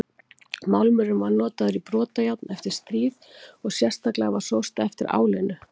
Málmurinn var notaður í brotajárn eftir stríð og sérstaklega var sóst eftir álinu.